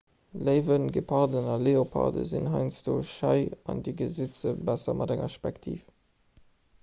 léiwen geparden a leoparden sinn heiansdo schei an dir gesitt se besser mat enger spektiv